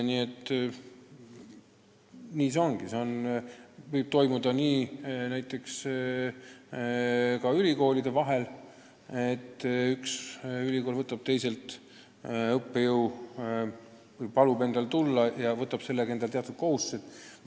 See leping võib olla sõlmitud ka ülikoolide vahel, nii et üks ülikool kutsub teisest ülikoolist õppejõu ja võtab sellega endale teatud kohustused.